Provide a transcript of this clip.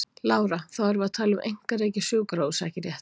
Lára: Þá erum við að tala um einkarekið sjúkrahús ekki rétt?